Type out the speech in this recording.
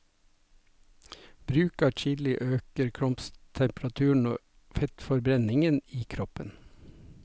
Bruk av chili øker kroppstemperaturen og fettforbrenningen i kroppen.